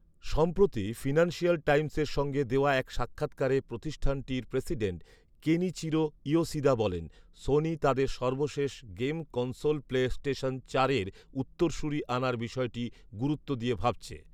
সম্প্রতি ফিনান্সিয়াল টাইমসের সঙ্গে দেওয়া এক সাক্ষাৎকারে প্রতিষ্ঠানটির প্রেসিডেন্ট কেনিচিরো ইয়োশিদা বলেন, সোনি তাদের সর্বশেষ গেম কনসোল প্লে স্টেশন চারের উত্তরসূরী আনার বিষয়টি গুরুত্ব দিয়ে ভাবছে